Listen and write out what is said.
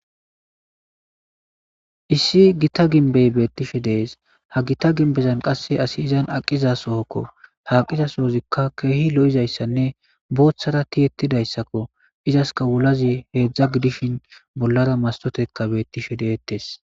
Issi gita ginbey beettishe dees ha gita ginbezan qasse asi izan aqiza sohokko haaqiza soozikka keehi lo'izayssanne booththara ti ettidayssakko izaska wulazi heedzdza gidishin bollara mastoteka beettishe deettes.